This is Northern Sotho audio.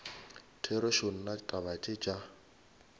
therešo nna taba tše tša